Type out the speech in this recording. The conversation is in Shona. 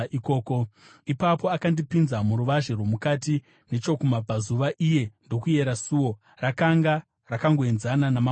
Ipapo akandipinza muruvazhe rwomukati nechokumabvazuva, iye ndokuyera suo; rakanga rakangoenzana namamwe pakuyera.